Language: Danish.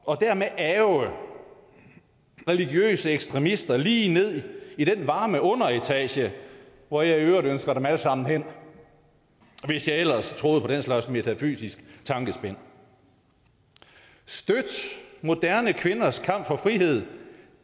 og dermed ærgre religiøse ekstremister lige ned i den varme underetage hvor jeg i øvrigt ønsker dem alle sammen hen hvis jeg ellers troede på den slags metafysisk tankespind støt moderne kvinders kamp for frihed